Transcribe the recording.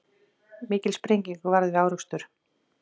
Mikil sprenging varð við árekstur